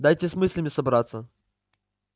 дайте с мыслями собраться